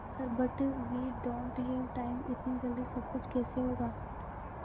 sir but we don't have time इतनी जल्दी सब कुछ कैसे होगा